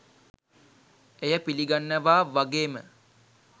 එය පිළිගන්නවා වගේම